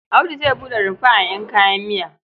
Audu zai buɗe rumfa a ƴan kayan miya.